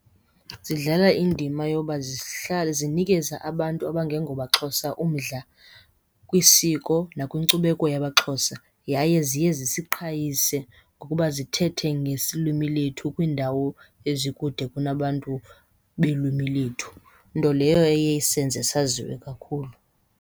Zidlala indima yoba zihlala zinikeze abantu abangengomaXhosa umdla kwisiko nakwiinkcubeko yakwaXhosa. Yaye ziye zisiqhayise ngokuba zithethe ngesilwimi lethu kwiindawo ezikude kunabantu belwimi lethu. Nto leyo eye isenze saziwe kakhulu.